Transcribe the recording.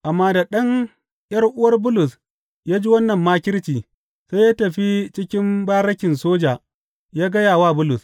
Amma da ɗan ’yar’uwar Bulus ya ji wannan makirci, sai ya tafi cikin barikin soja ya gaya wa Bulus.